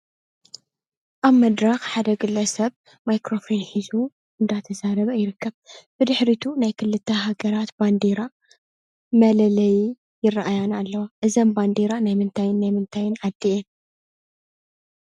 ኣብ መድረኽ ሓድ ግለሰብ ማይክረፎን ሒዙ እንዳተዛረበ ይርከብ። ብድሕሪቱ ናይ ክልተ ሃገራት ባንዴራ መለለዪ ይረኣያኒ ኣለዋ። እዘን ባንዴራ ናይ ምንታይን ናይ ምንታይን ዓዲ እየን ?